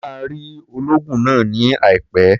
O máa rí olóògùn náà ní àìpẹ́.